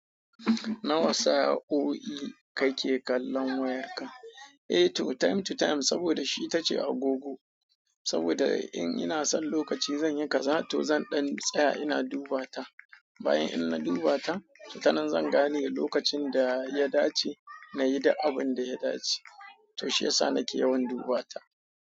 Na wa sa'o'i ka ke kallon wayarka? Eh to time to time saboda shi ta ce agogo. Saboda in ina son lokaci zan yi kaza to zan ɗan tsaya ina duba ta. Bayan in na duba ta, tana zan gane lokacin da ya dace nayi duk abun da ya dace. To shi yasa na ke yawan duba ta.